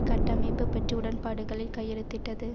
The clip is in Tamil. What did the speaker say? கட்டமைப்பு பெற்ற உடன்பாடுகளில் கையெழுத்திட்டது